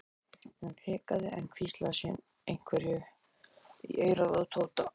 Hún hikaði en hvíslaði síðan einhverju í eyrað á Tóta.